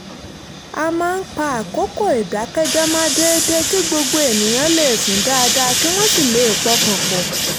a máa ń pa àkókò ìdákẹ́jẹ́ẹ́ mọ́ déédéé kí gbogbo ènìyàn lè sùn dáadáa kí wọ́n sì lè pọkàn pọ̀